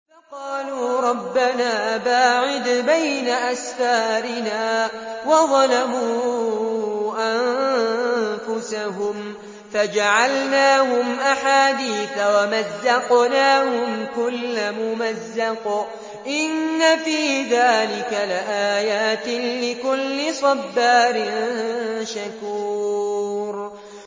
فَقَالُوا رَبَّنَا بَاعِدْ بَيْنَ أَسْفَارِنَا وَظَلَمُوا أَنفُسَهُمْ فَجَعَلْنَاهُمْ أَحَادِيثَ وَمَزَّقْنَاهُمْ كُلَّ مُمَزَّقٍ ۚ إِنَّ فِي ذَٰلِكَ لَآيَاتٍ لِّكُلِّ صَبَّارٍ شَكُورٍ